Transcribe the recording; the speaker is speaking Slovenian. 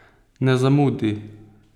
Ne zamudi!